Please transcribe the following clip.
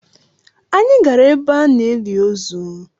Anyị gara ebe a na-eli ozu.